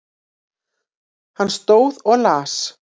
Hann stóð og las.